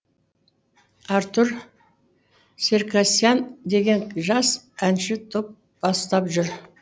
артур серкасиян деген жас әнші топ бастап жүр